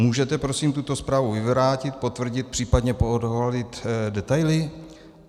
Můžete prosím tuto zprávu vyvrátit, potvrdit, případně poodhalit detaily?